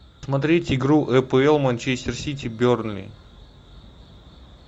смотреть игру апл манчестер сити бернли